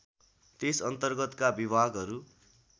त्यस अर्न्तगतका विभागहरू